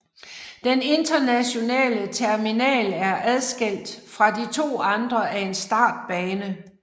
Den internationale terminal er adskilt fra de to andre af en startbane